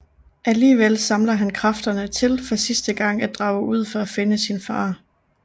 Alligevel samler han kræfterne til for sidste gang at drage ud for at finde sin far